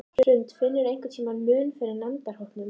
Hrund: Finnurðu einhvern mun eftir nemendahópum?